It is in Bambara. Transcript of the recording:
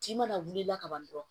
Tin mana wuli la ka ban dɔrɔn